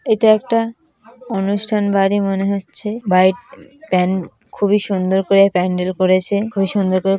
এটা একটা অনুষ্ঠান বাড়ি মনে হচ্ছে বাই প্যান খুবই সুন্দর করে প্যান্ডেল করেছে খুব সুন্দর করে--